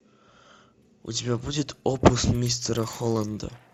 у тебя будет опус мистера холланда